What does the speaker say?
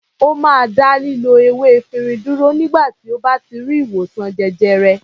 Ó máa dá lílo ewé efirin dúró nígbà tí ó bá ti rí ìwòsàn jẹjẹrẹ.